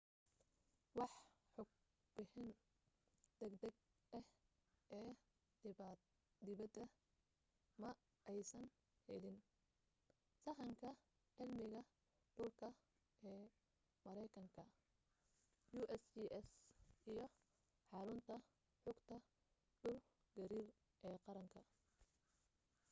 wax xog bixin degdeg ah ee dhibaata ma aysan helin sahanka cilmiga dhulka ee mareykanka usgs iyo xarunta xogta dhul gariir ee qaranka